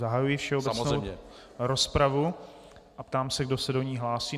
Zahajuji všeobecnou rozpravu a ptám se, kdo se do ní hlásí.